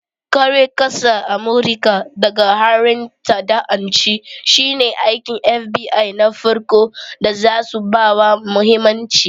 Kare ƙasar Amurika daga harin ta'addanci shine aikin FBI na farko da zasu bawa mahimmanci.